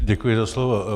Děkuji za slovo.